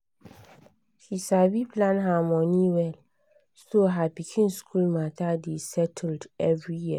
she sabi plan her money well so her pikin school matter dey settled every year